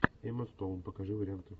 эмма стоун покажи варианты